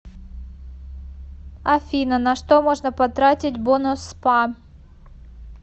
афина на что можно потратить бонус спа